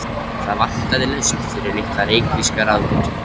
Það vantaði lausn fyrir litla reykvíska ráðgátu.